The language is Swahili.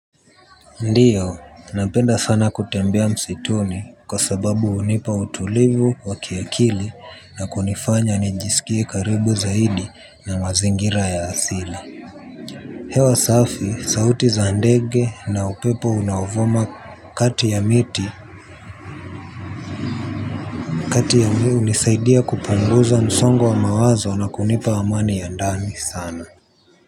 Ndiyo, napenda sana kutembea msituni kwa sababu hunipa utulivu wa kiakili na kunifanya nijisikie karibu zaidi na mazingira ya asili. Hewa safi, sauti za ndege na upepo unaovuma kati ya miti. Kati ya mi hunisaidia kupunguza msongo wa mawazo na kunipa amani ya ndani sana.